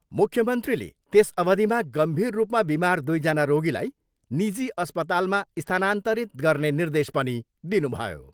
मुख्यमन्त्रीले त्यस अवधिमा गम्भीर रूपमा बिमार दुईजना रोगीलाई निजी अस्पतालमा स्थानान्तरित गर्ने निर्देश पनि दिनुभयो।